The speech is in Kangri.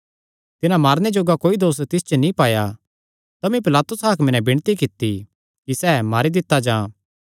तिन्हां मारने जोग्गा कोई दोस तिस च नीं पाया तमी पिलातुस हाकमे नैं विणती कित्ती कि सैह़ मारी दित्ता जां